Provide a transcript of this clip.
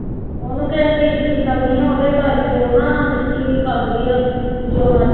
ਉਹਨੂੰ ਕਿਸੇ ਚੀਜ਼ ਦੀ ਕਮੀ ਆਂ ਉਹਦੇ ਕਰਕੇ ਉਹ ਨਾ ਮਿੱਟੀ ਵੀ ਖਾਂਦੀ ਆ ਤੇ ਜੋ ਮਰ